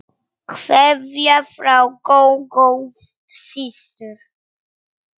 Kveðja frá Gógó systur.